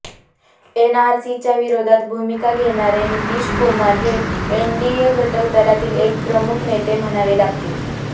एनआरसीच्या विरोधात भूमिका घेणारे नितीश कुमार हे एनडीए घटक दलातील एक प्रमुख नेते म्हणावे लागतील